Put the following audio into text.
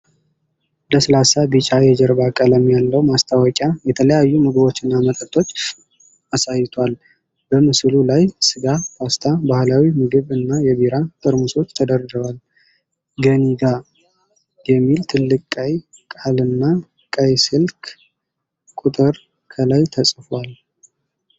ለስላሳ ቢጫ የጀርባ ቀለም ያለው ማስታወቂያ የተለያዩ ምግቦችንና መጠጦችን አሳይቷል። በምስሉ ላይ ስጋ፣ ፓስታ፣ ባህላዊ ምግብ እና የቢራ ጠርሙሶች ተደርድረዋል። ገኒጋ የሚል ትልቅ ቀይ ቃልና ቀይ ስልክ ቁጥር ከላይ ተጽፏል።